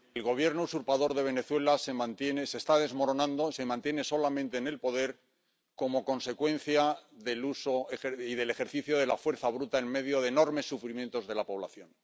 Señor presidente, el gobierno usurpador de Venezuela se está desmoronando. Se mantiene solamente en el poder como consecuencia del uso y del ejercicio de la fuerza bruta en medio de enormes sufrimientos de la población.